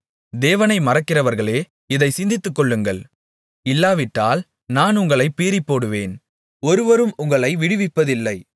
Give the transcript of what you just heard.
தேவனை மறக்கிறவர்களே இதைச் சிந்தித்துக்கொள்ளுங்கள் இல்லாவிட்டால் நான் உங்களைப் பீறிப்போடுவேன் ஒருவரும் உங்களை விடுவிப்பதில்லை